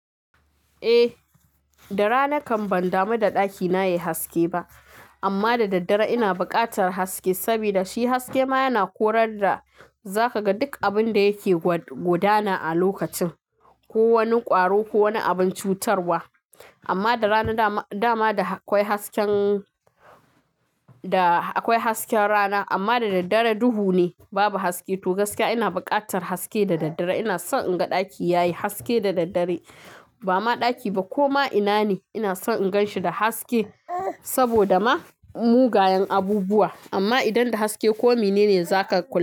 Eh, da rana kan ban damu da ɗakina yayi haske ba, amma da daddare ina bukatar haske, saboda shi haske ma yana korar da zaka ga duk abin da yake gudana a lokacin, ko wani ƙwaro ko wani abin cutarwa. Amma da rana dama da akwai hasken rana, amma da daddare duhu ne, babu haske. To gaskiya ina bukatar haske da daddare. Ina son in ga ɗaki yayi haske da daddare. Ba ma ɗaki ba ko ma ina ne, ina son in gan shi da haske, saboda ma mugayen abubuwa. Amma idan da haske komi ne za ka kula.